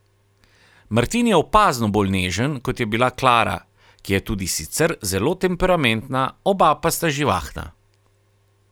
Martin je opazno bolj nežen, kot je bila Klara, ki je tudi sicer zelo temperamentna, oba pa sta živahna.